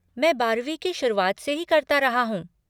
मैं बारहवीं की शुरुआत से ही करता रहा हूँ।